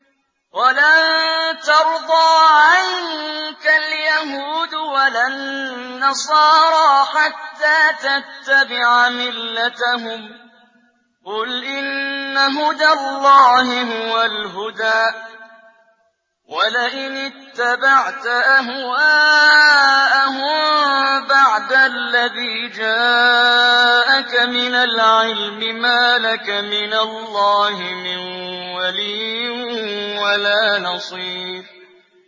وَلَن تَرْضَىٰ عَنكَ الْيَهُودُ وَلَا النَّصَارَىٰ حَتَّىٰ تَتَّبِعَ مِلَّتَهُمْ ۗ قُلْ إِنَّ هُدَى اللَّهِ هُوَ الْهُدَىٰ ۗ وَلَئِنِ اتَّبَعْتَ أَهْوَاءَهُم بَعْدَ الَّذِي جَاءَكَ مِنَ الْعِلْمِ ۙ مَا لَكَ مِنَ اللَّهِ مِن وَلِيٍّ وَلَا نَصِيرٍ